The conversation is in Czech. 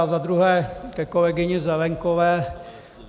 A za druhé ke kolegyni Zelienkové.